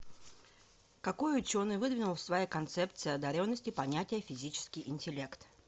какой ученый выдвинул в своей концепции одаренности понятие физический интеллект